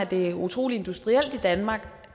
det er utrolig industrielt i danmark